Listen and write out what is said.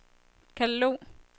katalog